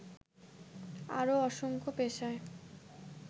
আরও অসংখ্য পেশায়